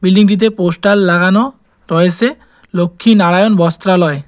বিল্ডিংটিতে পোস্টার লাগানো রয়েসে লক্ষ্মী নারায়ণ বস্ত্রালয়।